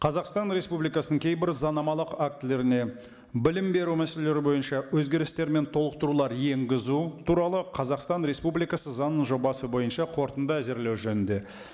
қазақстан республикасының кейбір заңнамалық актілеріне білім беру мәселелері бойынша өзгерістер мен толықтырулар енгізу туралы қазақстан республикасы заңының жобасы бойынша қорытынды әзірлеу жөнінде